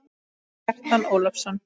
Kjartan Ólason